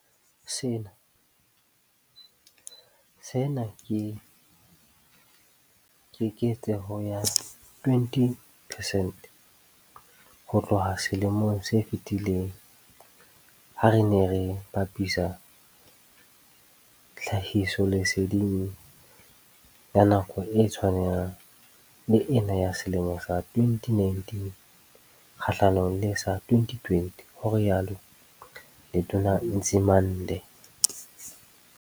Sena ke keketseho ya 20 pesente ho tloha selemong se fetileng ha re ne re bapisa tlhahisoleseding ya nako e tshwanang le ena ya selemo sa 2019 kgahlanong le sa 2020, ho rialo Letona Nzimande.